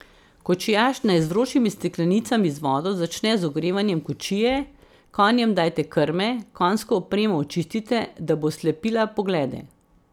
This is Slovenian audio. Kočijaž naj z vročimi steklenicami z vodo začne z ogrevanjem kočije, konjem dajte krme, konjsko opremo očistite, da bo slepila poglede.